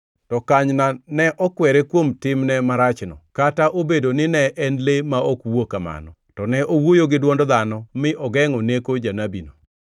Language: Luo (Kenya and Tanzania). To kanyna ne okwere kuom timne marachno, kata obedo ni en le ma ok wuo kamano, to ne owuoyo gi dwond dhano mi ogengʼo neko janabino.